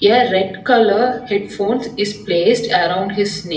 the red colour head phones is placed around his ne--